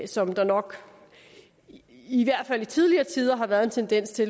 som der nok i hvert fald i tidligere tider har været en tendens til